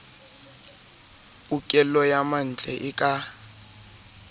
pokello ya mantle e ka